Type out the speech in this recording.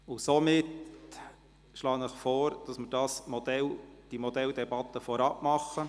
Deshalb schlage ich Ihnen vor, diese Modelldebatte vorab zu führen.